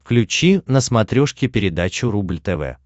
включи на смотрешке передачу рубль тв